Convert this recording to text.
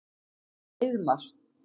Heiðmar